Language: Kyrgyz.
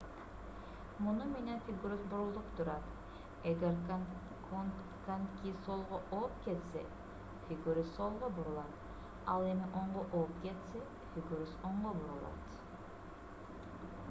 муну менен фигурист бурулуп турат эгер коньки солго ооп кетсе фигурист солго бурулат ал эми оңго ооп кетсе фигурист оңго бурулат